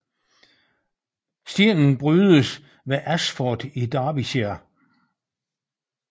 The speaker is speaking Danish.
Stenen brydes ved Ashford i Derbyshire